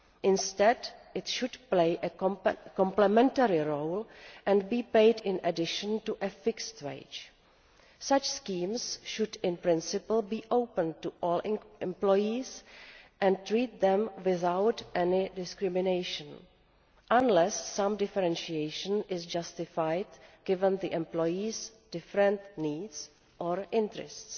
Instead it should play a complimentary role and be paid in addition to a fixed wage. Such schemes should in principle be open to all employees and treat them without any discrimination, unless some differentiation is justified given the employees' different needs or interests.